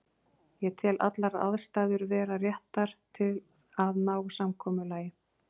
Ég tel allar aðstæður vera réttar til að ná samkomulagi.